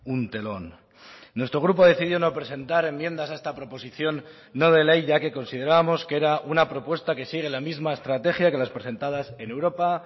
un telón nuestro grupo decidió no presentar enmiendas a esta proposición no de ley ya que considerábamos que era una propuesta que sigue la misma estrategia que las presentadas en europa